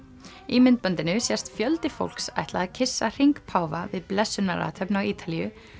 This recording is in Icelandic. í myndbandinu sést fjöldi fólks ætla að kyssa hring páfa við blessunarathöfn á Ítalíu